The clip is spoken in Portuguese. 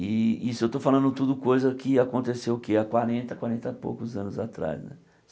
E isso eu estou falando tudo coisa que aconteceu o que há quarenta, quarenta e poucos anos atrás.